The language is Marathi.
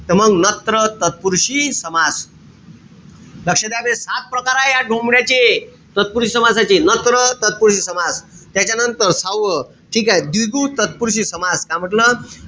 त मंग नत्र तत्पुरुषी समास. लक्ष द्या बे. सात प्रकार आये या डोमड्याचे. तत्पुरुषी समासाचे. नत्र तत्पुरुषी समास. त्याच्यानंतर, सहावं, ठीकेय? द्विगु तत्पुरुषी समास का म्हंटल?